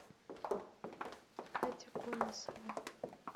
катя конасова